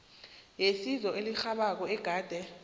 yesizo elirhabako ogade